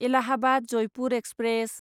Allahabad Jaipur express